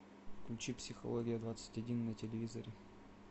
включи психология двадцать один на телевизоре